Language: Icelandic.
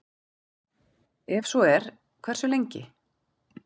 Ef svo er, hversu lengi?